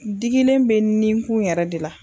Digilen bɛ ninkun yɛrɛ de la.